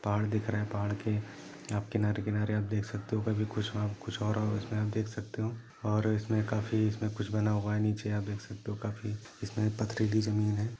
पहाड दिख रहा है पहाड़ के किनारे किनारे आप देख सकते हो ऊपर कुछ और कुछ और इसमें आप देख सकते हो और उसमे काफी कुछ बना हुआ है नीचे आप देख सकते हो और उसमे काफियो बना हुआ है यहा आप देख सकते हो पति जमीं है।